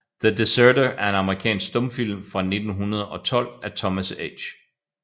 The Deserter er en amerikansk stumfilm fra 1912 af Thomas H